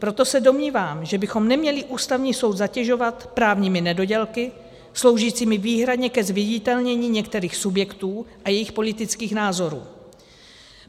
Proto se domnívám, že bychom neměli Ústavní soud zatěžovat právními nedodělky sloužícími výhradně ke zviditelnění některých subjektů a jejich politických názorů.